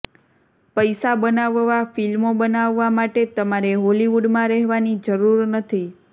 પૈસા બનાવવા ફિલ્મો બનાવવા માટે તમારે હોલિવૂડમાં રહેવાની જરૂર નથી